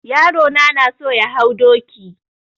Yaro na na so ya hau doki.